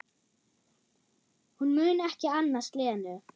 Hún mun ekki annast Lenu.